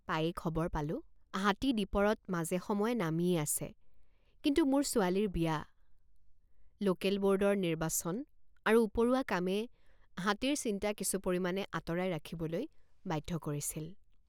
পায়েই খবৰ পালোঁ হাতী দীপৰত মাজেসময়ে নামিয়েই আছে কিন্তু মোৰ ছোৱালীৰ বিয়া লোকেল বোৰ্ডৰ নিৰ্বাচন আৰু উপৰুৱা কামে হাতীৰ চিন্তা কিছু পৰিমাণে আঁতৰাই ৰাখিবলৈ বাধ্য কৰিছিল।